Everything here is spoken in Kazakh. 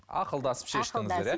ақылдасып шештіңіздер иә